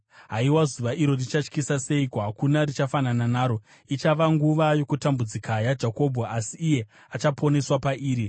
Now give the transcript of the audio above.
Haiwa, zuva iro richatyisa seiko! Hakuna richafanana naro. Ichava nguva yaJakobho yokutambudzika, asi achaponeswa pairi.